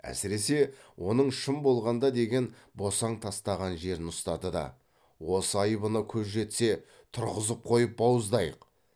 әсіресе оның шын болғанда деген босаң тастаған жерін ұстады да осы айыбына көз жетсе тұрғызып қойып бауыздайық